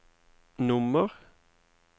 nummer